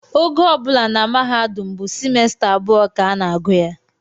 Ogo ọ bụla na mahadum bụ simesta abụọ ka a na-agụ ya